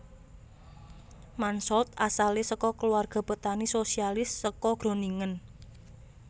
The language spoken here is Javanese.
Mansholt asale saka keluarga petani sosialis saka Groningen